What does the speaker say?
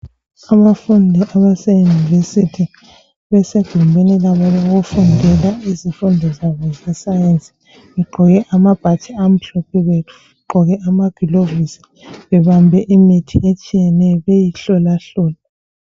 Abafundi abaseyunivesithi basegumbini labo lokufundela izifundo zabo zesayensi, begqoke amabhatshi amhlophe, begqoke amagilovisi, bebambe imithi etshiyeneyo beyihlolahlola.